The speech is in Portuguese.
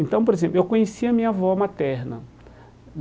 Então, por exemplo, eu conheci a minha avó materna.